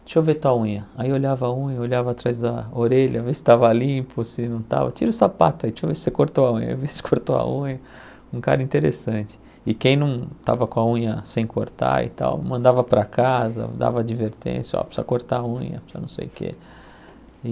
deixa eu ver tua unha, aí olhava a unha, olhava atrás da orelha, vê se tava limpo, se não tava, tira o sapato aí, deixa eu ver se você cortou a unha, vê se cortou a unha, um cara interessante, e quem não tava com a unha sem cortar e tal, mandava para casa, dava advertência, ó, precisa cortar a unha, precisa não sei o que, e